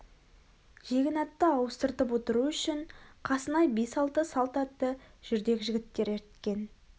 жегін атты ауыстырып отыру үшін қасына бес-алты салт атты жүрдек жігіттер ерткен